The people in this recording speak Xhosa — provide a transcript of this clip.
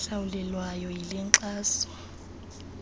ehlawulelwayo yile nkxaso